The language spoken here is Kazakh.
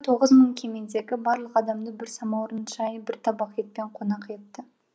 тоғыз мың кемедегі барлық адамды бір самаурын шай бір табақ етпен конақ етті